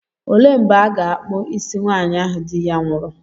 Olee mgbe a ga-akpụ isi nwaanyị ahụ di ya nwụrụ?